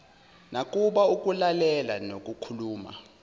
nakuba ukulalela nokukhuluma